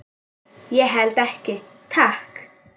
Ég held ekki, takk.